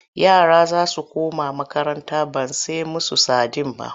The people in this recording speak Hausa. Yara za su koma makaranta ban sai musu sadin ba.-